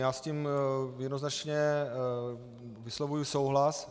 Já s tím jednoznačně vyslovuji souhlas.